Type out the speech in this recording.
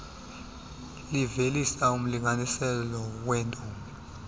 livelisa umlinganiselo weetoni